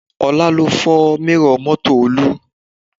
Ọlá ló fọ́ mírọ̀ mọ́tò Olú